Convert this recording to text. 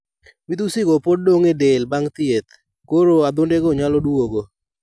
Midhusi go pod dong' e del bang' thieth, koro adhondego nyalo duogo.